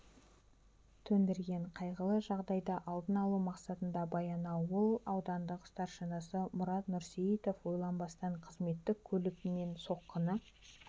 төндірген қайғылы жағдайды алдын алу мақсатында баянауыл аудандық старшинасы мұрат нұрсейітов ойланбастан қызметтік көлігімен соққыны